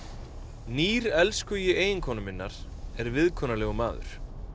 nýr elskhugi eiginkonu minnar er viðkunnalegur maður